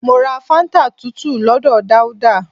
Mọ ra fáńtà tútù lọ́dọ̀ Dauda